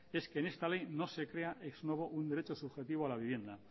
es que en esta ley no se crea ex novo un derecho subjetivo a la vivienda